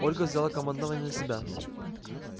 ольга взяла командование на себя